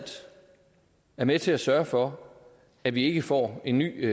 er med til at sørge for at vi ikke får en ny